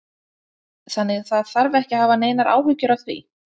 Þannig að það þarf ekkert að hafa neinar áhyggjur af því?